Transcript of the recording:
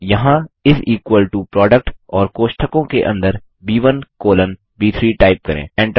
यहाँ इस equal to product और कोष्ठकों के अंदर ब1 कॉलन ब3 टाइप करें